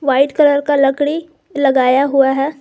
White colour का लकड़ी लगाया हुआ है।